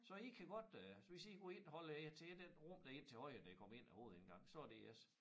Så I kan godt øh hvis I kan gå ind holder jer til et et rum derinde til højre når I går ind ad æ hovedindgang så det jeres